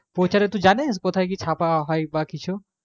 প্রচারে টু কি জানিস কোথায় কি ছাপা হয় বা কিছু